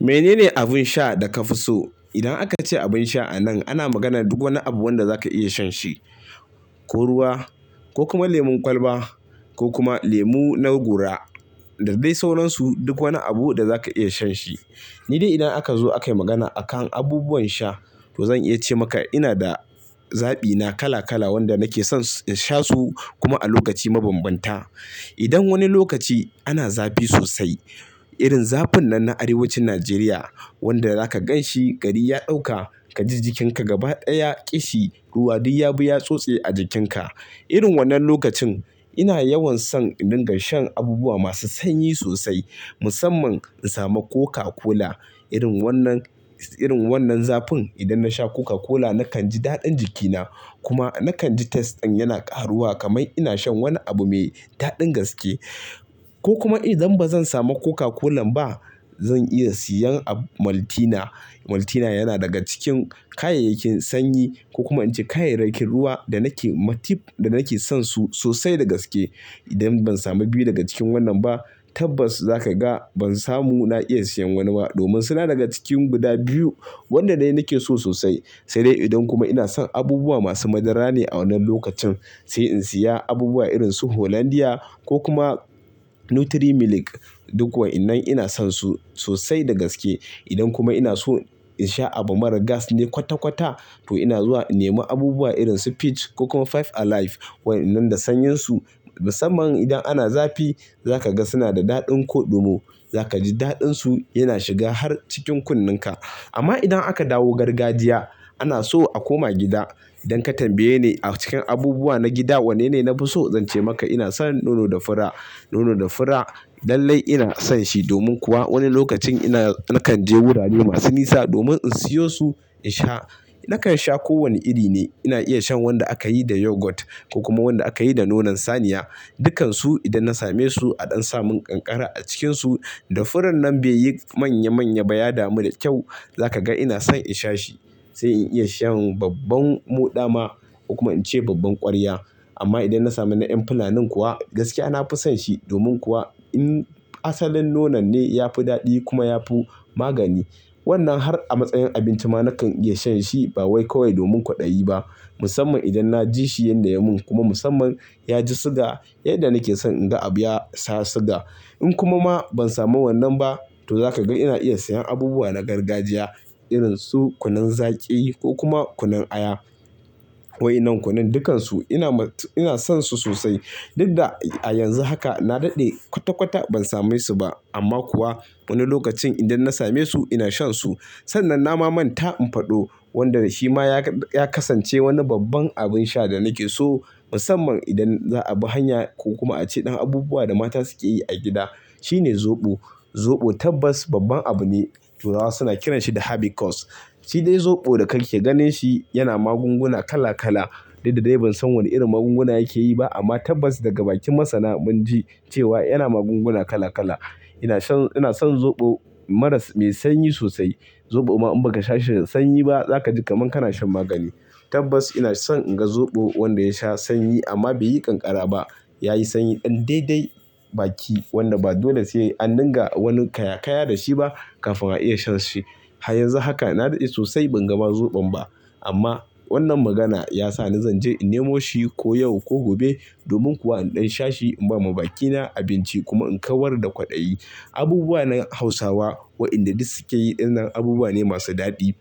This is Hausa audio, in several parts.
Menene abin sha da ka fi so? Idan aka ce abin sha a nan ana magana duk wani abu wanda za ka iya shan shi, ko ruwa ko kuma lemon kwalba ko kuma lemu na gora. Da dai sauran su duk wani abu da za ka iya shan shi. Ni dai idan aka zo akai magana akan abubuwan sha, to zan iya ce maka ina da zabi na kala kala wanda nake son in sha su kuma a lokaci mabanbanta. Idan wani lokaci ana zafi sosai, irin zafin nan na Arewacin Najeriya wanda za ka gan shi gari ya ɗauka, ka ji jikinka gaba ɗaya ƙishi, ruwa duk ya bi ya tsotse a jikinka. Irin wannan lokacin ina yawan son in ringa shan abubuwa masu sanyi sosai musamman in samu Coca-Cola. Irin wannan, irin wannan zafin idan na sha Coca-Cola nakan ji daɗin jikina kuma nakan ji taste ɗin yana ƙaruwa kaman ina shan wani abu mai daɗin gaske. Ko kuma idan ba zan samu Coca-Cola ba, zan iya siyan ab-- Maltina. Maltina yana daga cikin kayayyakin sanyi ko kuma in ce kayayyakin ruwa da nake-- ma tip da nake son su sosai da gaske. Idan ban samu biyu daga cikin wannan ba, tabbas za ka ga ban samu na iya siyan wani ba domin suna daga cikin guda biyu wanda dai nake so sosai. Sai dai idan kuma ina son abubuwa masu madara ne a wannan lokacin, sai in siya abubuwa irin su Hollandia ko kuma Nutri-Milik. Duk wa'innan ina son su sosai da gaske. Idan kuma ina so in sha abu marar gas ne kwata-kwata, to ina zuwa in nemi abubuwa irin su Peach ko kuma Five Alive. Wa'innan da sanyin su musamman idan ana zafi za ka ga suna da daɗin koɗumo. Za ka ji daɗin su yana shiga har cikin kunnin ka. Amma idan aka dawo gargajiya, ana so a koma gida. Idan ka tambaye ni a cikin abubuwa na gida wanne ne na fi so, zan ce maka ina son nono da fura. Nono da fura lallai ina son shi domin kuwa wani lokacin ina-- nakan je wurare masu nisa domin in siyo su in sha. Nakan sha kowane iri ne. Ina iya shan wanda aka yi da yogurt ko kuma wanda aka yi da nonon saniya. Dukansu idan na same su a ɗan samun kankara a cikinsu da furon nan bai yi manya-manya ba, ya damu da kyau, za ka ga ina son in sha shi. Sai in iya shan babban moɗa ma ko kuma in ce babban ƙwarya. Amma idan na sami na ƴan fulanin kuwa gaskiya na fi son shi domin kuwa in asalin nonon ne ya fi daɗi kuma ya fi magani. Wannan har a matsayin abinci ma na kan iya shan shi ba wai kawai domin kwaɗayi ba musamman idan na ji shi yanda yamun kuma musamman ya ji suga yadda nake son in ga abu ya sha suga. In kuma ma ban samu wannan ba, to za kaga ina iya siyan abubuwa na gargajiya irin su kunun zaki ko kuma kunun aya. Wa'innan kunun dukansu ina mat-- ina son su sosai. Dudda a yanzu haka na daɗe kwata-kwata ban same su ba amma kuwa wani lokacin idan na same su ina shan su. Sannan nama man ta in faɗo wanda shi ma ya ka-- ya kasance wani babban abin sha da nake so musamman idan za a bi hanya ko kuma a ci ɗan abubuwa da mata suke yi a gida. Shi ne zoɓo. Zoɓo tabbas babban abu ne. Turawa suna kiran shi da habikos. Shi dai zoɓo da ka ke ganin shi yana magunguna kala kala. Dudda dai ban san wani irin magunguna yake yi ba amma tabbas daga bakin masana mun ji cewa yana magunguna kala kala. Ina shan-- ina son zoɓo maras-- mai sanyi sosai. Zoɓo ma in ba ka sha shi da sanyi ba za ka ji kaman kana shan magani. Tabbas ina son in ga zoɓo wanda ya sha sanyi amma bai yi kankara ba. Ya yi sanyi ɗan dai dai baki wanda ba dole sai an dinga wani kaya kaya da shi ba kafin a iya shan shi. A yanzu haka na daɗe sosai ban ga ma zoɓon ba amma wannan magana ya sa ni zan je in nemo shi ko yau ko gobe domin kuwa in ɗan sha shi, in ba ma bakina abinci kuma in kawar da kwaɗayi. Abubuwa na Hausawa wa'inda duk suke yi dinnan abubuwa ne masu daɗi.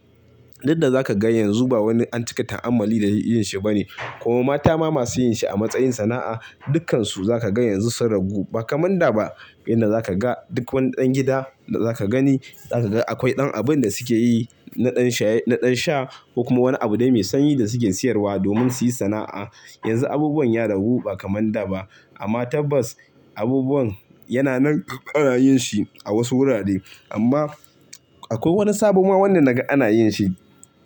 Dudda za kaga yanzu ba wani an cika ta'ammali da yinshi ba ne. Kuma mata ma masu yin shi a matsayin sana'a, dukkansu za kaga yanzu sun ragu ba kaman da ba. Inda za kaga duk wani ɗan gida da za ka gani, za kaga akwai ɗan abin da suke yi na ɗan shaye, na ɗan sha kuma wani abu dai mai sanyi da suke siyarwa domin su yi sana'a. Yanzu abubuwan ya ragu ba kaman da ba amma tabbas abubuwan yana nan ana yin shi a wasu wurare. Amma akwai wani sabo ma wanda naga ana yin shi.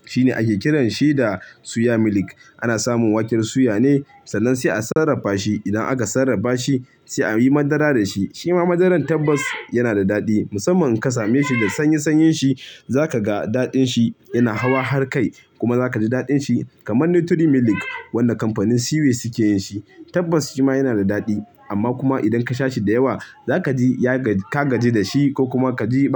Shi ne ake kiran shi da suya milik. Ana samun waken suya ne sannan sai a sarrafa shi. Idan aka sarrafa shi sai a yi madara da shi. Shi ma madaran tabbas yana da daɗi musamman in ka same shi da sanyi-sanyen shi za ka ga daɗin shi yana hawa har kai. Kuma za ka ji daɗin shi kaman Nutri-Milik wanda kamfanin Cway suke yin shi. Tabbas shi ma yana da daɗi amma kuma idan ka sha shi da yawa za ka ji ya gaji-- ka gaji da shi ko kuma ka ji ba.